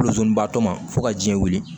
baatɔ ma fo ka jiɲɛ wili